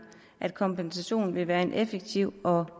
at kompensation vil være en effektiv og